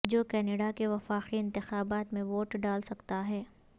جو کینیڈا کے وفاقی انتخابات میں ووٹ ڈال سکتا ہے